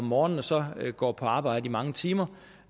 morgen og så går på arbejde i mange timer